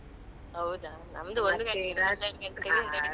ಹೌದಾ ನಮ್ದು ಒಂದು